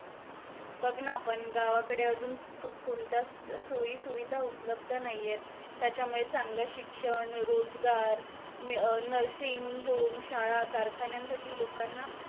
बग ना पन गावाकडे अजून सुख सुविधा सोयी सुविधा उपलब्ध नाहीयेत त्याच्यामुळे चांगलं शिक्षण रोजगार मी अं nursing home शाळा कारखान्यांसाठी लोकांना